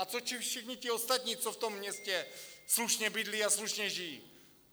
A co všichni ti ostatní, co v tom městě slušně bydlí a slušně žijí?